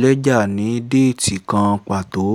lẹ́jà ní déètì kan pàtó